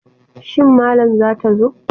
Shin malam zata zo?